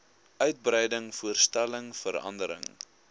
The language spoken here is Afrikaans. uitbreiding verstelling verandering